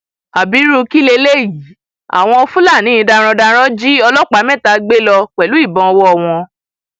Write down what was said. ábírú kí leléyìí àwọn fúlàní darandaran jí ọlọpàá mẹta gbé lọ pẹlú ìbọn ọwọ wọn